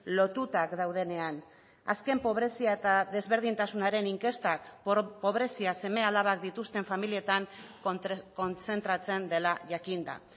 lotutak daudenean azken pobrezia eta desberdintasunaren inkestak pobrezia seme alabak dituzten familietan kontzentratzen dela jakin da